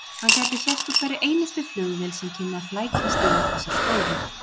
Hann gæti sést úr hverri einustu flugvél sem kynni að flækjast yfir þessar slóðir.